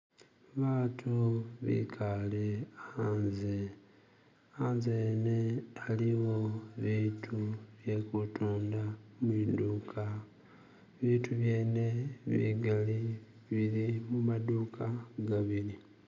baatu bikale anze, anze wene aliwo bitu byekutunda mwiduka bitu byene bigali bili muma duuka gabili